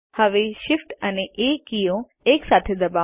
હવે Shift અને A key એકસાથે દબાવો